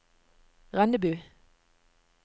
Rennebu